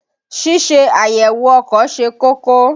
Ṣíṣe àyèwò ọkọ̀ ṣe kókó.